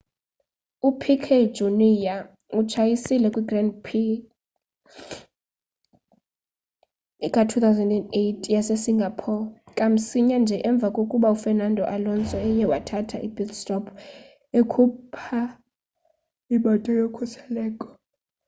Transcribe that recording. upiquet jr utshayisile kw grand prix ka-2008 yase singapore kamsinya nje emva kokba ufernando alonso eye wathatha i-pit stop ekhupha imoto yokhuseleko